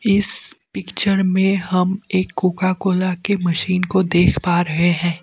इस पिक्चर में हम एक कोका कोला के मशीन को देख पा रहे हैं।